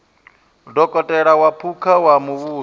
dokotela wa phukha wa muvhuso